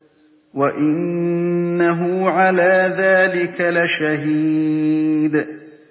وَإِنَّهُ عَلَىٰ ذَٰلِكَ لَشَهِيدٌ